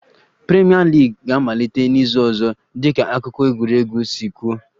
Premier League ga-amalite n'izu ọzọ dịka akụkọ egwuregwu si kwuo